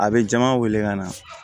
A bɛ jama wele ka na